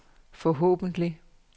forhåbentlig